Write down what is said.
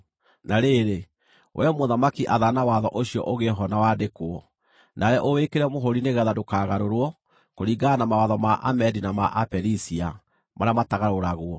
Na rĩrĩ, wee mũthamaki, athana watho ũcio ũgĩe ho na wandĩkwo, nawe ũwĩkĩre mũhũũri nĩgeetha ndũkagarũrwo, kũringana na mawatho ma Amedi na ma Aperisia marĩa matagarũragwo.”